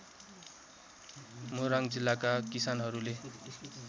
मोरङ जिल्लाका किसानहरूले